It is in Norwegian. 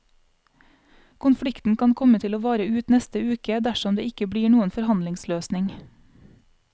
Konflikten kan komme til å vare ut neste uke, dersom det ikke blir noen forhandlingsløsning.